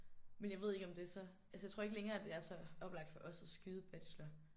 Men jeg ved ikke om det så altså jeg tror ikke længere det er så oplagt for os at skyde bacheloren